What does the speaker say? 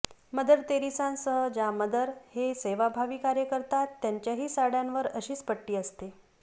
mother तेरेसांसह ज्या mother हे सेवाभावी कार्य करतात त्यांच्याही साड्यांवर अशीच पट्टी असते